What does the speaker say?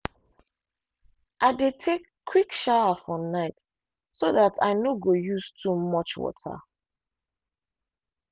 i dey take quick shower for night so that i no go use too much water.